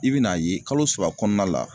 I bi n'a ye kalo saba kɔɔna la